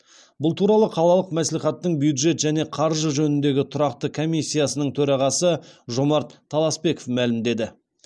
бұл туралы қалалық мәслихаттың бюджет және қаржы жөніндегі тұрақты комиссиясының төрағасы жомарт таласпеков мәлімдеді